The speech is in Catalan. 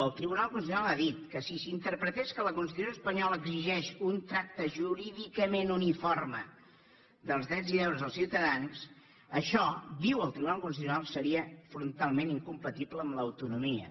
el tribunal constitucional ha dit que si s’interpretés que la constitució espanyola exigeix un tracte jurídicament uniforme dels drets i deures dels ciutadans això diu el tribunal constitucional seria frontalment incompatible amb l’autonomia